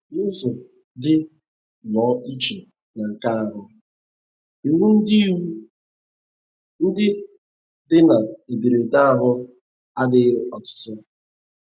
N’ụzọ dị nnọọ iche na nke ahụ, iwu ndị, iwu ndị dị na ederede ahụ adịghị ọtụtụ.